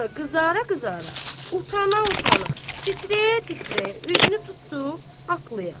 Sonra qızara-qızara, utana-utana, titrəyə-titrəyə üzünü tutdu atlıya.